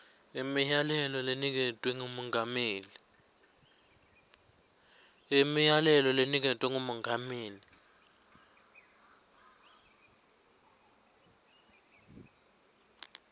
imiyalelo leniketwe ngumengameli